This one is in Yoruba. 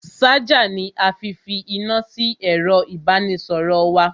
Ṣájà ni a fi fi iná sí ẹ̀ro ìbánisọ̀rọ̀ wa.